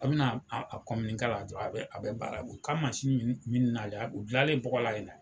A bɛna la dɔrɔn a bɛ a bɛ baara u k'a mansi min nalen o dilanlen bɔgɔla yen.